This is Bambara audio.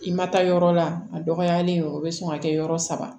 I ma taa yɔrɔ la a dɔgɔyalen o bɛ sɔn ka kɛ yɔrɔ saba